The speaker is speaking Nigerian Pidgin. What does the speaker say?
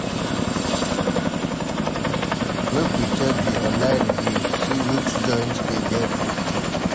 Make we check di online reviews, see which joint dey get good food.